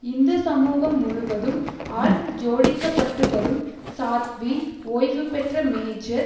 இந்து சமூகம் முழுவதும் ஆல் ஜோடிக்கப்பட்டுவரும் சாத்வி ஓய்வு பெற்ற மேஜர்